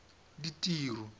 ditiro